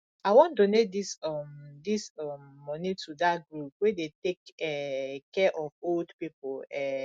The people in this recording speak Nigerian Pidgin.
i wan donate dis um dis um money to dat group wey dey take um care of old people um